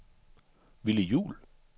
Willy Juul